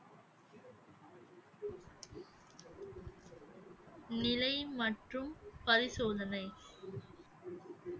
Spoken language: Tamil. நிலை மற்றும் பரிசோதனை